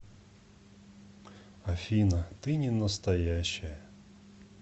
афина ты ненастоящая